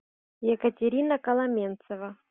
екатерина коломенцева